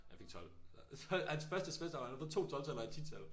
Jeg fik 12. Så hans første semester og han har fået 2 12-taller og ét 10-tal